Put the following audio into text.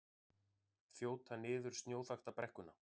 Þjóta niður snjóþakta brekkuna